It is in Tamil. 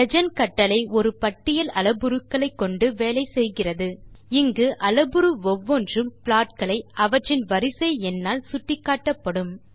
லீஜெண்ட் கட்டளை ஒரு பட்டியல் அளப்புருக்களைக் கொண்டு வேலை செய்கிறதுஇங்கு அளப்புரு ஒவ்வொன்றும் ப்ளாட் களை அவற்றின் வரிசை எண்ணால் சுட்டிக்காட்டும்